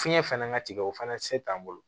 Fiɲɛ fɛnɛ ka tigɛ o fana ti se t'an bolo